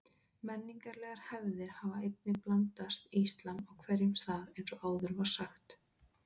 Menningarlegar hefðir hafa einnig blandast íslam á hverjum stað eins og áður var sagt.